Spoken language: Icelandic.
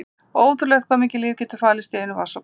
Ótrúlegt hvað mikið líf getur falist í einum vatnsdropa.